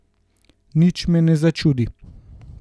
Nič me ne začudi.